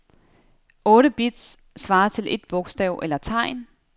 Otte bits svarer til et bogstav eller tegn.